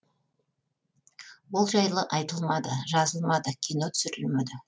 ол жайлы айтылмады жазылмады кино түсірілмеді